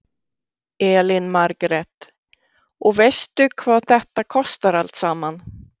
Elín Margrét: Og veistu hvað þetta kostar allt saman?